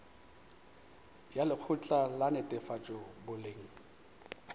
ya lekgotla la netefatšo boleng